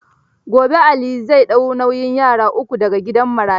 Gobe Ali zai ɗau nauyin yara uku da ga gidan marayu.